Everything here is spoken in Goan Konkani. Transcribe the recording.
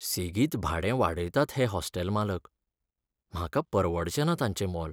सेगीत भाडें वाडयतात हे हॉस्टेल मालक, म्हाका परवडचेना तांचें मोल.